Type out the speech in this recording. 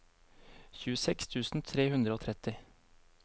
tjueseks tusen tre hundre og tretti